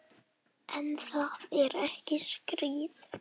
En það er ekki skráð.